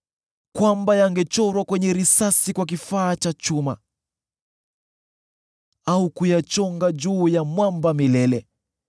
kwamba yangechorwa kwenye risasi kwa kifaa cha chuma, au kuyachonga juu ya mwamba milele!